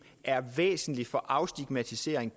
er væsentligt for afstigmatisering